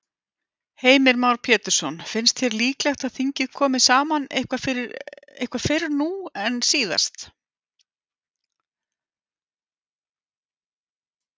Heimir Már Pétursson: Finnst þér líklegt að þingið komi saman eitthvað fyrr nú en síðast?